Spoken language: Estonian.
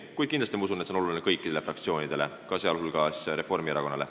Kuid ma usun, et see on kindlasti oluline kõikidele fraktsioonidele, sh Reformierakonnale.